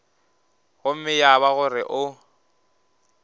gomme ya ba gore o